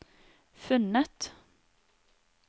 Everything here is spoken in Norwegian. funnet